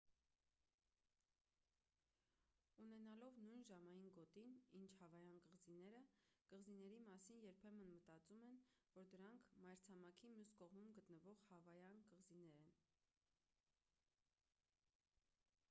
ունենալով նույն ժամային գոտին ինչ հավայան կղզիները կղզիների մասին երբեմն մտածում են որ դրանք մայրցամաքի մյուս կողմում գտնվող հավայան կղզիներ են